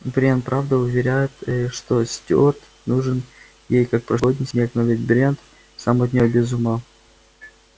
брент правда уверяет что стюарт нужен ей как прошлогодний снег но ведь брент сам от неё без ума